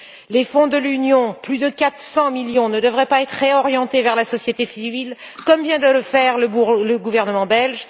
Les fonds de l'Union plus de 400 millions ne devraient ils pas être réorientés vers la société civile, comme vient de le faire le gouvernement